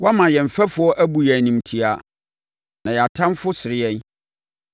Woama yɛn mfɛfoɔ abu yɛn animtiaa, na yɛn atamfoɔ sere yɛn.